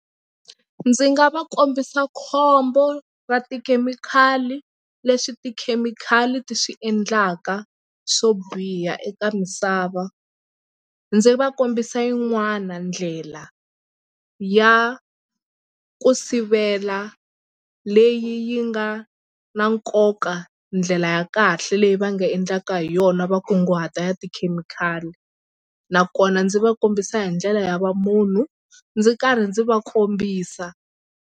Ndzi nga va kombisa khombo ra tikhemikhali leswi tikhemikhali ti swi endlaka swo biha eka misava. Ndzi va kombisa yin'wana ndlela ya ku sivela leyi yi nga na nkoka ndlela ya kahle leyi va nga endlaka hi yona va kunguhata ya tikhemikhali nakona ndzi va kombisa hi ndlela ya va munhu ndzi karhi ndzi va kombisa.